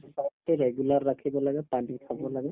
exercise তো regular ৰাখিব লাগে পানী খাব লাগে